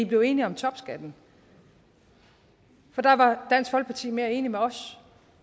blev enige om topskatten for der var dansk folkeparti mere enige med os